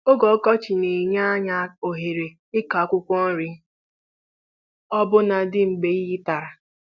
Oge ọkọchị na-enye anyị ohere ịkụ akwụkwọ nri ọbụna dị mgbe iyi tara